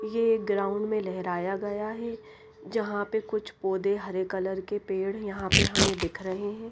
ये ग्राउंड में लहराया गया है जहां पे कुछ पौधे हरे कलर के पेड़ यहां पे हमें दिख रहे हैं।